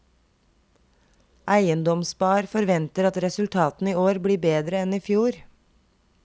Eiendomsspar forventer at resultatene i år blir bedre enn i fjor.